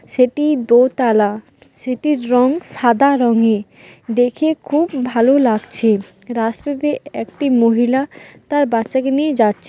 সেটি দোতালা। সেটির রং সাদা রংয়ের। দেখে খুব ভালো লাগছে। রাস্তাতে একটি মহিলা তার বাচ্চাকে নিয়ে যাচ্ছে।